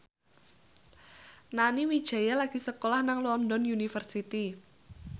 Nani Wijaya lagi sekolah nang London University